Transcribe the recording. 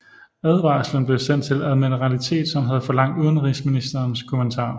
Advarslen blev sendt til admiralitetet som havde forlangt udenrigsministerens kommentar